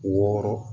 Wɔɔrɔ